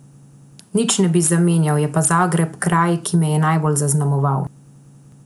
Nič ne bi zamenjal, je pa Zagreb kraj, ki me je najbolj zaznamoval.